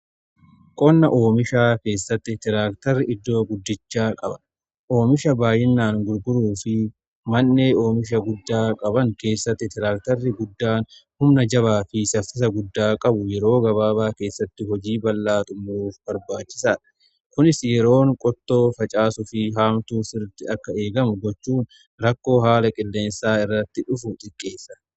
Qonna oomisha keessatti tiraaktarri iddoo guddichaa qaba. Oomisha baayyinaan gurguruu fi mannee oomisha guddaa qaban keessatti tiraaktarri guddaan humna jabaa fi saffisa guddaa qabu yeroo gabaabaa keessatti hojii bal'aa uumuuf barbaachisaadha. Kunis yeroon qottoo facaasu fi haamtuu sirriiti akka eegamu gochuun rakkoo haala qilleensaa irratti dhufu xiqqeessa.